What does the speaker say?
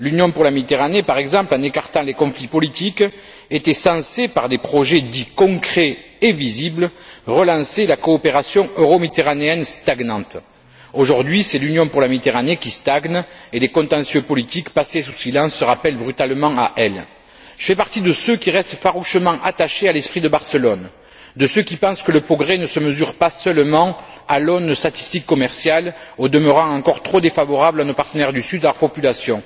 L'Union pour la Méditerranée, par exemple, en écartant les conflits politiques, était censée, par des projets dits concrets et visibles, relancer la coopération euro méditerranéenne stagnante. Aujourd'hui, c'est l'Union pour la Méditerranée qui stagne, et les contentieux politiques passés sous silence se rappellent brutalement à elle. Je fais partie de ceux qui restent farouchement attachés à l'esprit de Barcelone, de ceux qui pensent que le progrès ne se mesure pas seulement à l'aune statistique commerciale, au demeurant encore trop défavorable à nos partenaires du sud, à leurs populations.